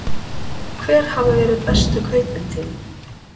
Hver hafa verið bestu kaupin þín?